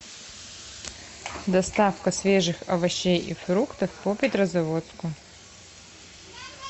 доставка свежих овощей и фруктов по петрозаводску